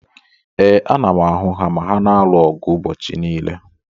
Ee, ana m ahụ ha ma ha na-alụ ọgụ ụbọchị niile.